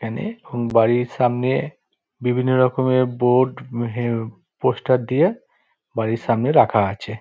এখানে বাড়ির সামনে বিভিন্ন রকমের বোর্ড পোস্টার দিয়ে বাড়ির সামনে রাখা আছে ।